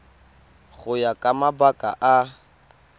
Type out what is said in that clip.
go ya ka mabaka a